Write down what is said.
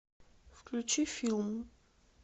включи филм